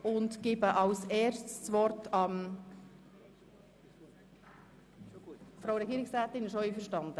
Sind Sie mit dem Vorgehen der Beratung einverstanden?